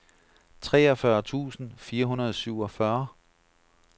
treogfyrre tusind fire hundrede og syvogfyrre